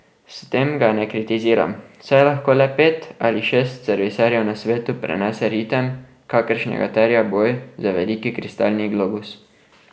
S tem ga ne kritiziram, saj lahko le pet ali šest serviserjev na svetu prenese ritem, kakršnega terja boj za veliki kristalni globus.